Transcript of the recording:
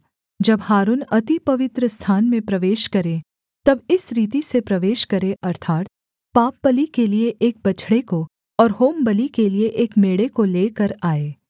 जब हारून अति पवित्रस्थान में प्रवेश करे तब इस रीति से प्रवेश करे अर्थात् पापबलि के लिये एक बछड़े को और होमबलि के लिये एक मेढ़े को लेकर आए